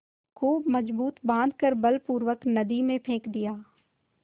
खूब मजबूत बॉँध कर बलपूर्वक नदी में फेंक दिया